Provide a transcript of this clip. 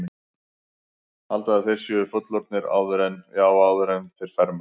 Halda að þeir séu fullorðnir áður en, já, áður en þeir fermast.